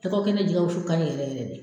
Lɔgɔ kɛnɛ jɛgɛ ka ɲi yɛrɛ yɛrɛ de.